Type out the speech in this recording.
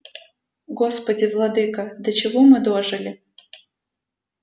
господи владыко до чего мы дожили